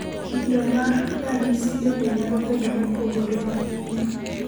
Kido mar ranyisi bende nyalo bedo mopogore ahinya.